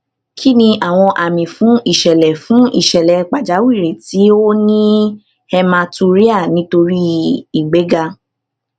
kí ni àwọn àmì fún ìṣẹlẹ fún ìṣẹlẹ pàjáwìrì tí ó ní hematuria nítorí ìgbéga